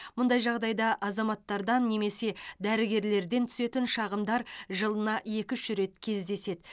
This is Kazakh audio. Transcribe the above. мұндай жағдайда азаматтардан немесе дәрігерлерден түсетін шағымдар жылына екі үш рет кездеседі